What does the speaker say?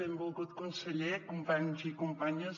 benvolgut conseller companys i companyes